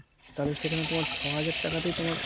তাহলে সেখানে তোমার ছ হাজার তাকাতেই তোমার